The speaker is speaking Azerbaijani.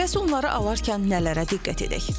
Bəs onları alarkən nələrə diqqət edək?